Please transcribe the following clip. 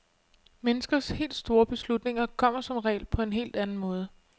Menneskers helt store beslutninger kommer som regel på en helt anden måde.